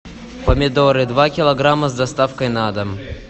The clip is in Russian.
помидоры два килограмма с доставкой на дом